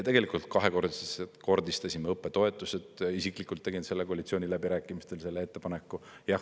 Tegelikult kahekordistasime õppetoetused, isiklikult tegin koalitsiooniläbirääkimistel selle ettepaneku.